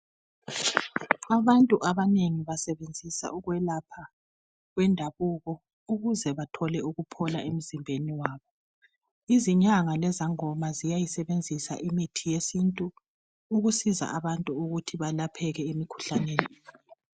abantu abanengi basebenzisa ukwelapha kwendabuko ukuze bathole ukuphola emzimbeni wabo izinyanga lezangoma ziyayisebenzisa imithi yesintu ukusiza abantu ukuthi balapheke emikhuhlaneni